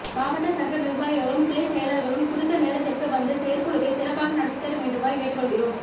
மாவட்ட சங்க நிர்வாகிகளும் கிளை செயலர்களும் குறித்த நேரத்திற்கு வந்து செயற்குழுவை சிறப்பாக நடத்தி தர வேண்டுமாய் கேட்டு கொள்கிறோம்